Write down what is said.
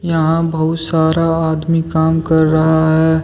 यहां बहुत सारा आदमी काम कर रहा है।